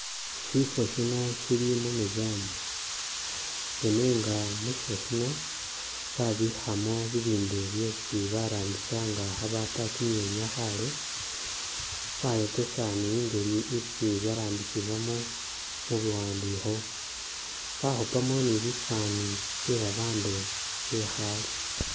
Shifo shino sheli mu meseaum ne nenga mu shifo shino babikhamo bibindu byesi barambisa nga khabaapa kimyenya khaale bayokesa ni i'ngeli isi byarambisibwamo mu buwandikho bakhupaamo ni bifani byebabandu bekhaale